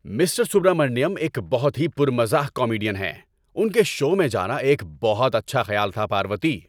Mister Subramaniam ایک بہت ہی پر مزاح کامیڈین ہیں۔ ان کے شو میں جانا ایک بہت اچھا خیال تھا، پاروتی۔